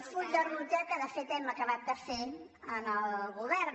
full de ruta que de fet hem acabat de fer al govern